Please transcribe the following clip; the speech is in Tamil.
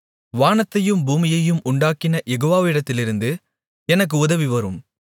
வானத்தையும் பூமியையும் உண்டாக்கின யெகோவாவிடத்திலிருந்து எனக்கு உதவி வரும்